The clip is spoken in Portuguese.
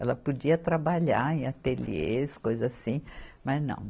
Ela podia trabalhar em ateliês, coisa assim, mas não.